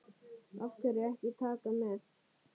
Af hverju ekki Taka með?